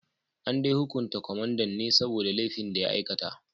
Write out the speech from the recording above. An dai hukunta kwamandan ne saboda laifin da ya aikata